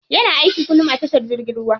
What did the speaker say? Yana aiki kullum a tashar jirgin ruwa.